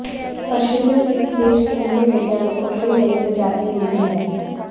पश्चिमी अफ्रीकी देश गिनी में वैज्ञानिकों को यह नई प्रजाति मिली है